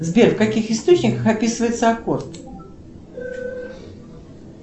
сбер в каких источниках описывается аккорд